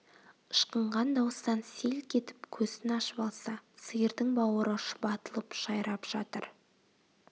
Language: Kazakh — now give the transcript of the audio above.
ышқынған дауыстан селк етіп көзін ашып алса сиырдың бауыры шұбатылып жайрап жатыр